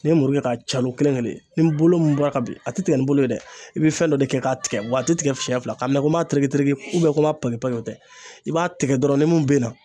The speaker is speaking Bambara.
Ne ye muru kɛ k'a calon kelen kelen ni bolo min bɔra ka ben a te tigɛ ni bolo ye dɛ i bɛ fɛn dɔ de kɛ k'a tigɛ wa a te tigɛ fiyɛn fila k'a minɛ ko n b'a tereketereke ubiyɛn ko n b'a page page o tɛ i b'a tigɛ dɔrn nimun bena